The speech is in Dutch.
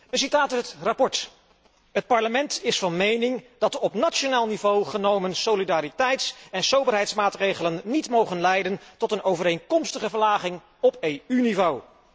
Een citaat uit het verslag Het Parlement is van mening dat de op nationaal niveau genomen solidariteits en soberheidsmaatregelen niet mogen leiden tot een overeenkomstige verlaging op EU niveau.